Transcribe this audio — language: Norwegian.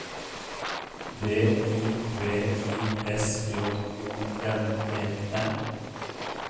D I V I S J O N E N